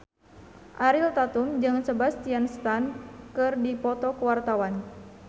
Ariel Tatum jeung Sebastian Stan keur dipoto ku wartawan